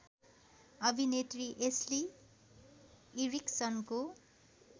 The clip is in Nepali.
अभिनेत्री एस्ली इरिक्सनको